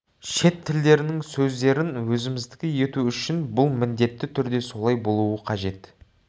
шет тілдерінің сөздерін өзіміздікі ету үшін бұл міндетті түрде солай болуы қажет